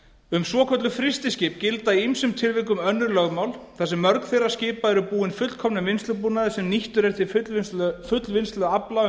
um svokölluð frystiskip gilda í ýmsum tilvikum önnur lögmál þar sem mörg þeirra skipa eru búin fullkomnum vinnslubúnaði sem nýttur er til fullvinnslu afla